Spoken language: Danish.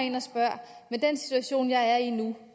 en og spørge med den situation jeg er i nu